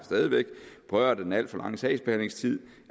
berørt af den alt for lange sagsbehandlingstid